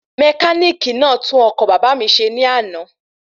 Mẹkánìkì náà tún okọ̀ bàbá mi ṣe ní àná